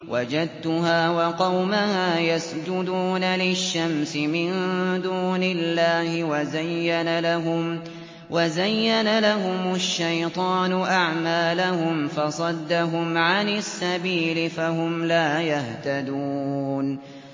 وَجَدتُّهَا وَقَوْمَهَا يَسْجُدُونَ لِلشَّمْسِ مِن دُونِ اللَّهِ وَزَيَّنَ لَهُمُ الشَّيْطَانُ أَعْمَالَهُمْ فَصَدَّهُمْ عَنِ السَّبِيلِ فَهُمْ لَا يَهْتَدُونَ